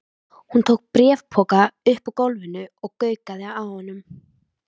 Hún tók bréfpoka upp úr gólfinu og gaukaði að honum.